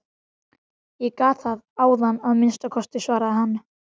Ég gat það áðan að minnsta kosti, svaraði hann.